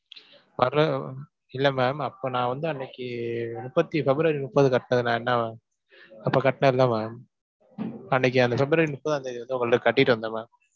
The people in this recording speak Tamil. வரல அஹ் இல்லை ma'am அப்ப நான் வந்து அன்னைக்கு முப்பத்தி பிப்ரவரி முப்பது அப்பக் கட்டினேன் இல்ல ma'am அன்னைக்கு அந்தப் பிப்ரவரி முப்பதாம் தேதி வந்து உங்கள்ட்ட கட்டிட்டு வந்தேன் ma'am.